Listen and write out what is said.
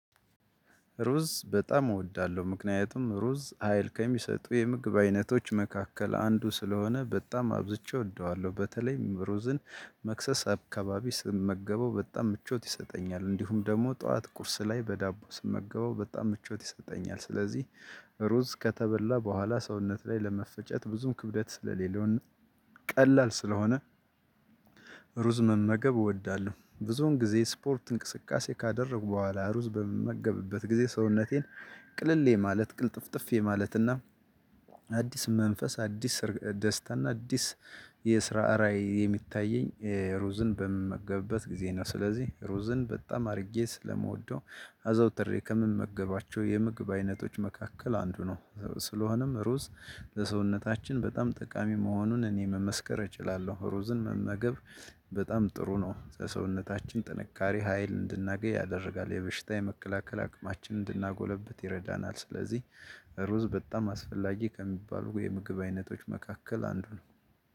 ሩዝ በጣም እወዳለሁ ምክንያቱም ሩዝ ሀይል ከሚሰጡ የምግብ አይነቶች መካከል አንዱ ስለሆነ በጣም አብዝቼ እወደዋለሁ በተለይም ሩዝን መክሰስ አካባቢ ስመገበው በጣም ምቾት ይሰጠኛል እንዲሁም ደግሞ ጠዋት ቁርስ ላይ በዳቦ ስመገበው በጣም ምቾት ይሰጠኛል ስለዚህ ሩዝ ከተበላ በኋላ ሰውነት ላይ ለመፈጨት ብዙም ክብደት ስለሌለው ቀላል ስለሆነ መመገብ እወዳለሁ። ብዙውን ጊዜ ስፖርት እንቅስቃሴ ካደረግሁ በኋላ ሩዝ በምመገብበት ጊዜ ሰውነቴን ቅልል የማለት ቅልጥፍጥፍ የማለት እና አዲስ መንፈስ አዲስ ደስታ አዲስ የስራ ራዕይ የሚታየኝ ሩዝን በምመገብበት ጊዜ ነው። ስለዚህ ሩዝን በጣም አድርጌ ስለምወደው አዘውትሬ ከምመገባቸው የምግብ አይነቶች መካከል አንዱ ነው። ስለሆነም ሩዝ በሰውነታችን በጣም ጠቃሚ መሆኑን እኔ መመስከር እችላለሁ። ሩዝን መመገብ በጣም ጥሩ ነው። የሰውነታችን ጥንካሬ ሀይል እንድናገኝ ያደርጋል የበሽታ የመከላከል አቅማችን እንድናጎለብት ይረዳናል። ስለዚህ ሩዝ በጣም አስፈላጊ ከሚባሉ የምግብ አይነቶች መካከል አንዱ ነው።